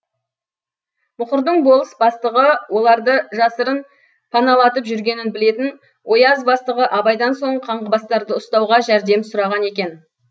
мұқырдың болыс бастығы оларды жасырын паналатып жүргенін білетін ояз бастығы абайдан сол қаңғыбастарды ұстауға жәрдем сұраған екен